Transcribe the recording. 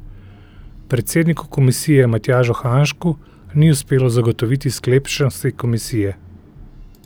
Predsedniku komisije Matjažu Hanžku ni uspelo zagotoviti sklepčnosti komisije.